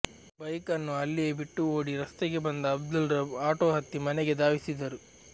bike ಅನ್ನು ಅಲ್ಲಿಯೆ ಬಿಟ್ಟು ಓಡಿ ರಸ್ತೆಗೆ ಬಂದ ಅಬ್ದುಲ್ ರಬ್ ಆಟೊ ಹತ್ತಿ ಮನೆಗೆ ಧಾವಿಸಿದರು